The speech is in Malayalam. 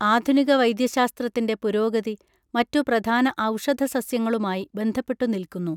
ആധുനിക വൈദ്യശാസ്ത്രത്തിന്റെ പുരോഗതി മറ്റു പ്രധാന ഔഷധസസ്യങ്ങളുമായി ബന്ധപ്പെട്ടു നിൽക്കുന്നു